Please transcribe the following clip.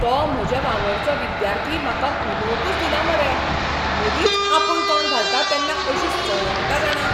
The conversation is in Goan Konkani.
तो म्हजे वांगडचो विद्यार्थी म्हाका उलोवंकच दिना मरे, मदींच आपूण तोंड घालता तेन्ना अशी सणकता जाणा.